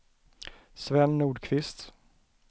Sven Nordqvist